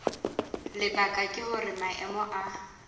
lebaka ke hore maemo a